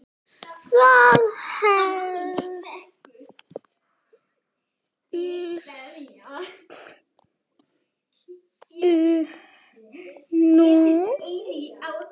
Það hélstu nú!